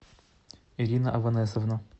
ирина аванесовна